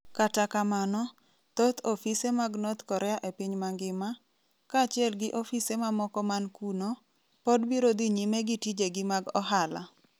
Kata kamano, thoth ofise mag North Korea e piny mangima, kaachiel gi ofise mamoko man kuno, pod biro dhi nyime gi tijegi mag ohala.